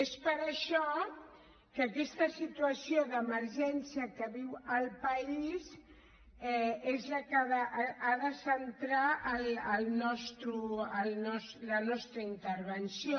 és per això que aquesta situació d’emergència que viu el país és la que ha de centrar la nostra intervenció